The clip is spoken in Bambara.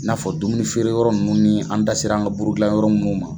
I na fɔ dumuni feere yɔrɔ nunnu ni an dasera an ka buru dilan yɔrɔ munnu ma.